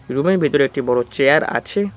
রুমের ভেতরে একটি বড় চেয়ার আছে।